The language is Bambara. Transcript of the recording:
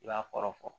I b'a kɔrɔ fɔ